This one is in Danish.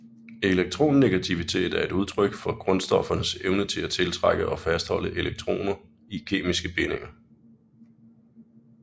Elektronegativitet er et udtryk for grundstoffernes evne til at tiltrække og fastholde elektroner i kemiske bindinger